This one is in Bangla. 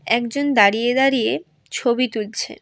একজন দাঁড়িয়ে দাঁড়িয়ে ছবি তুলছে।